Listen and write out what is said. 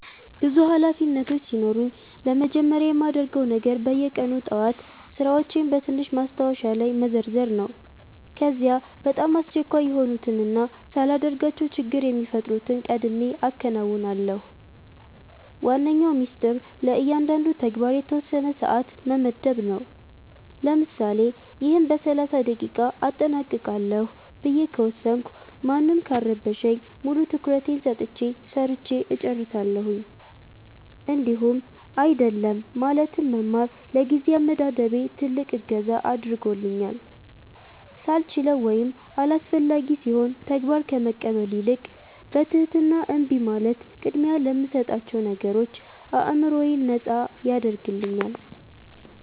ብዙ ኃላፊነቶች ሲኖሩኝ ለመጀመሪያ የማደርገው ነገር በየቀኑ ጠዋት ሥራዎቼን በትንሽ ማስታወሻ ላይ መዘርዘር ነው። ከዚያ በጣም አስቸኳይ የሆኑትንና ሳላደርጋቸው ችግር የሚፈጥሩትን ቀድሜ አከናውናለሁ። ዋነኛው ሚስጥር ለእያንዳንዱ ተግባር የተወሰነ ሰዓት መመደብ ነው፤ ለምሳሌ "ይህን በ30 ደቂቃ አጠናቅቃለሁ" ብዬ ከወሰንኩ ማንም ካልረበሸኝ ሙሉ ትኩረቴን ሰጥቼ ሰርቸ እጨርሳለሁኝ። እንዲሁም "አይደለም" ማለትን መማር ለጊዜ አመዳደቤ ትልቅ እገዛ አድርጎልኛል፤ ሳልችለው ወይም አላስፈላጊ ሲሆን ተግባር ከመቀበል ይልቅ በትህትና እምቢ ማለት ቅድሚያ ለምሰጣቸው ነገሮች አዕምሮዬን ነጻ ያደርግልኛል።